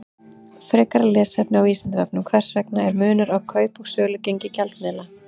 Frekara lesefni á Vísindavefnum: Hvers vegna er munur á kaup- og sölugengi gjaldmiðla?